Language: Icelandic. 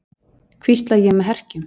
hvísla ég með herkjum.